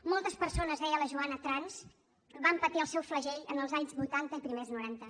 moltes persones deia la joana trans van patir el seu flagell en els anys vuitanta i primers noranta